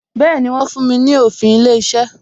Bẹẹni, wọ́n fún mi ní òfin ilé iṣẹ́